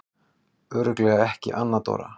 Örugglega ekki Anna Dóra?